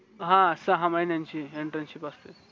हां सहा महिण्याची इंटरशिप असते